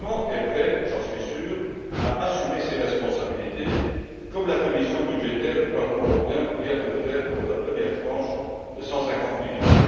Le Parlement est prêt, j'en suis sûr, à assumer ses responsabilités, comme la commission des budgets du Parlement européen vient de le faire pour la première tranche de 150millions.